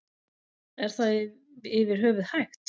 Er það yfir höfuð hægt?